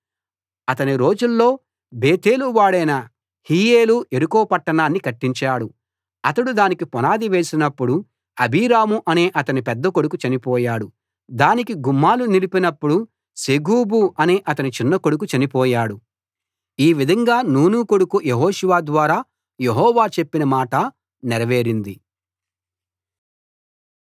అతని రోజుల్లో బేతేలువాడైన హీయేలు యెరికో పట్టణాన్ని కట్టించాడు అతడు దానికి పునాది వేసినప్పుడు అబీరాము అనే అతని పెద్దకొడుకు చనిపోయాడు దానికి గుమ్మాలు నిలిపినప్పుడు సెగూబు అనే అతని చిన్నకొడుకు చనిపోయాడు ఈ విధంగా నూను కొడుకు యెహోషువ ద్వారా యెహోవా చెప్పిన మాట నెరవేరింది